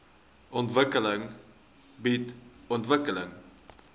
ontwikkeling bied ontwikkeling